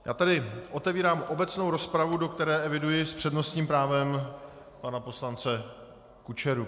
Já tady otevírám obecnou rozpravu, do které eviduji s přednostním právem pana poslance Kučeru.